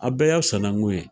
Aw bɛɛ y'a sanankun ye